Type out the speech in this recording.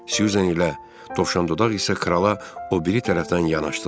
Susan ilə Dovşan dodaq isə krala o biri tərəfdən yanaşdılar.